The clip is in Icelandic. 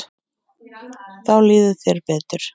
Þá líður þér betur.